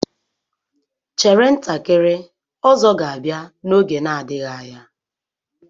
Chere ntakịrị, Ozo ga-abia n'oge na-adịghị anya.